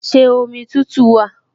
Ṣé omi tútù wà?